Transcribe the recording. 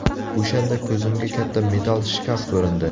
O‘shanda ko‘zimga katta metall shkaf ko‘rindi.